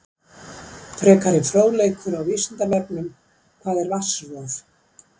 Frekari fróðleikur á Vísindavefnum: Hvað er vatnsrof?